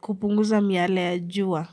kupunguza miale ya jua.